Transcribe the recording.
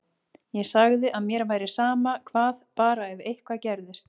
Ég sagði að mér væri sama hvað, bara ef eitthvað gerðist.